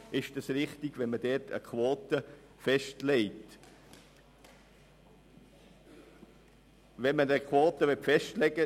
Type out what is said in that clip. Ob es richtig ist, dort eine Quote festzulegen, ist für uns fraglich.